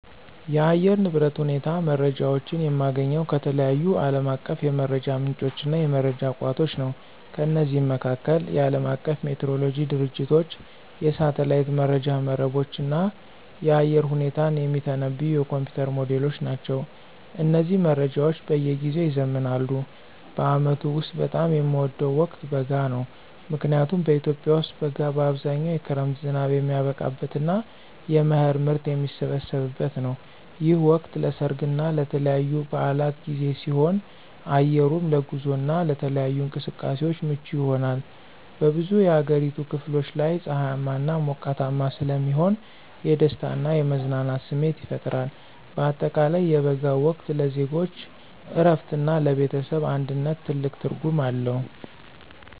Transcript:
የአየር ንብረት ሁኔታ መረጃዎችን የማገኘው ከተለያዩ ዓለም አቀፍ የመረጃ ምንጮችና የመረጃ ቋቶች ነው። ከነዚህም መካከል፦ የዓለም አቀፉ ሜትሮሎጂ ድርጅቶች፣ የሳተላይት መረጃ መረቦች፣ እና የአየር ሁኔታን የሚተነብዩ የኮምፒዩተር ሞዴሎች ናቸው። እነዚህ መረጃዎች በየጊዜው ይዘምናሉ። በዓመቱ ውስጥ በጣም የምወደው ወቅት በጋ ነው። ምክንያቱም በኢትዮጵያ ውስጥ በጋ በአብዛኛው የክረምት ዝናብ የሚያበቃበትና የመኸር ምርት የሚሰበሰብበት ነው። ይህ ወቅት ለሠርግና ለተለያዩ በዓላት ጊዜ ሲሆን፣ አየሩም ለጉዞና ለተለያዩ እንቅስቃሴዎች ምቹ ይሆናል። በብዙ የአገሪቱ ክፍሎች ላይ ፀሐያማና ሞቃታማ ስለሚሆን የደስታና የመዝናናት ስሜት ይፈጥራል። በአጠቃላይ የበጋው ወቅት ለዜጎች እረፍትና ለቤተሰብ አንድነት ትልቅ ትርጉም አለው።